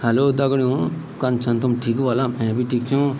हेल्लो दगड़ियों कन छन तुम ठीक ह्वला मैं भी ठीक छों।